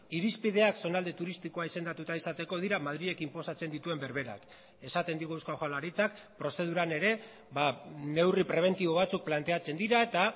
irizpideak zonalde turistikoa izendatuta izateko dira madrilek inposatzen dituen berberak esaten digu eusko jaurlaritzak prozeduran ere neurri prebentibo batzuk planteatzen dira eta